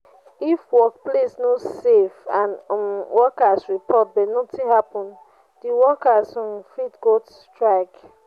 if workplace no safe and um workers report but nothing happen the workers um fit go strike